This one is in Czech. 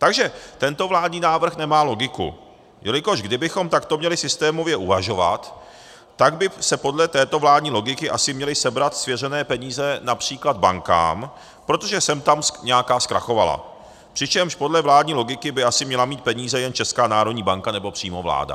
Takže tento vládní návrh nemá logiku, jelikož kdybychom takto měli systémově uvažovat, tak by se podle této vládní logiky asi měly sebrat svěřené peníze například bankám, protože sem tam nějaká zkrachovala, přičemž podle vládní logiky by asi měla mít peníze jen Česká národní banka nebo přímo vláda.